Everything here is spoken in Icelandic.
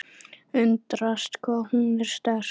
Undrast hvað hún er sterk.